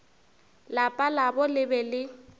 lapa labo le be le